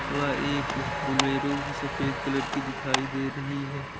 वह एक बोलेरो भी सफेद कलर की दिखाई दे रही है।